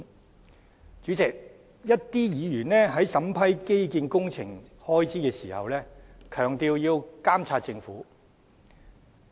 代理主席，一些議員在審批基建工程開支時強調要監察政府。